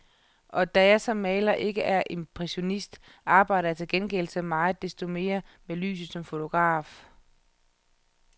Og da jeg som maler ikke er impressionist, arbejder jeg til gengæld så meget desto mere med lyset som fotograf.